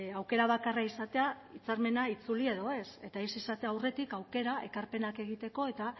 aukera bakarra izatea hitzarmena itzuli edo ez eta ez izatea aurretik aukera ekarpenak egiteko eta